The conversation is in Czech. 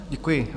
Děkuji.